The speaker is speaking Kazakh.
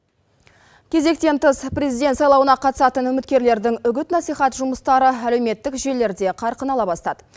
кезектен тыс президент сайлауына қатысатын үміткерлердің үгіт насихат жұмыстары әлеуметтік желілерде қарқын ала бастады